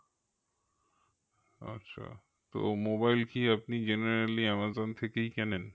তো mobile কি আপনি genarelly আমাজন থেকেই কেনেন?